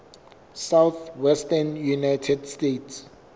southwestern united states